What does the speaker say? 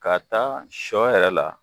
Ka taa sɔ yɛrɛ la